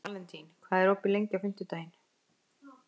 Valentín, hvað er opið lengi á fimmtudaginn?